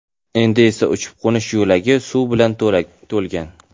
Endi esa uchib-qo‘nish yo‘lagi suv bilan to‘lgan.